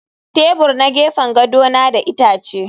Tebur na gefen gado na da itace